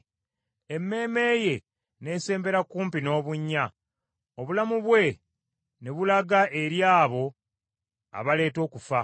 emmeeme ye n’esembera kumpi n’obunnya; obulamu bwe ne bulaga eri abo abaleeta okufa.